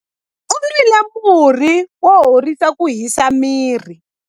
U nwile murhi wo horisa ku hisa miri.